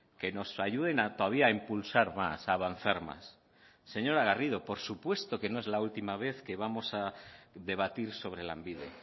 que nos ayuden a todavía a impulsar más a avanzar más señora garrido por supuesto que no es la última vez que vamos a debatir sobre lanbide